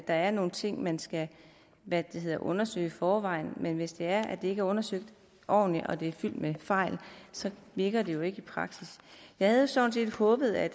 er nogle ting man skal undersøge i forvejen men hvis det er at det ikke er undersøgt ordentligt og det er fyldt med fejl så virker det jo ikke i praksis jeg havde sådan set håbet at